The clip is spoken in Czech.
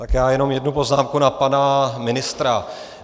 Tak já jenom jednu poznámku na pana ministra.